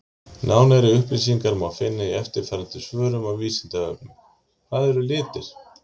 Nánari upplýsingar má finna í eftirfarandi svörum á Vísindavefnum: Hvað eru litir?